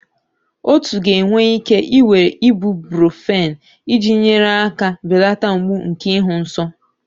Otu ga-enwe ike ị were Ibuprofen iji nyere aka belata mgbu nke ịhụ nsọ.